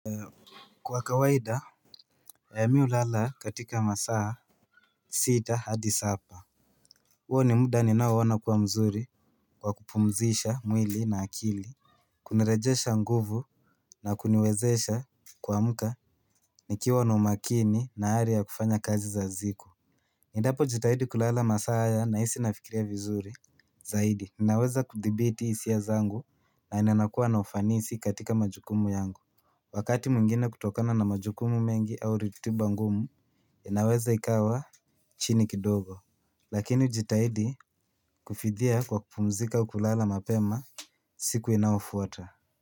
Kwa kawaida mimi hulala katika masaa sita hadi saba huo ni muda ninaoona ukuwa mzuri kwa kupumzisha mwili na akili. Kunarejesha nguvu na kuniwezesha kuamka nikiwa na umakini na ari ya kufanya kazi za siku endapo jitahidi kulala masaa haya nahisi nafikiria vizuri zaidi, ninaweza kudhibiti hisia zangu na ninakuwa na ufanisi katika majukumu yangu. Wakati mwingine kutokana na majukumu mengi au ratiba ngumu, inaweza ikawa chini kidogo. Lakini hujitahidi kufidhia kwa kupumzika kulala mapema siku inayofuata.